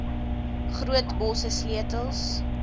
groot bosse sleutels